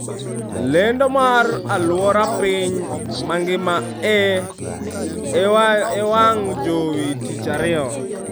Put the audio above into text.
Lendo mar aluora piny mangima e wang jowi tich ariyo